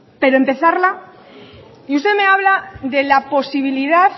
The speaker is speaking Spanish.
pero empezarla y usted me habla de la posibilidad